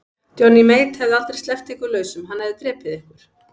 Johnny Mate hefði aldrei sleppt ykkur lausum, hann hefði drepið ykkur.